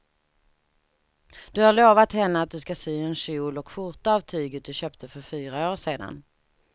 Du har lovat henne att du ska sy en kjol och skjorta av tyget du köpte för fyra år sedan.